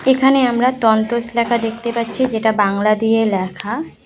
এখানে আমরা তন্তস লেখা দেখতে পাচ্ছি যেটা বাংলা দিয়ে লেখা।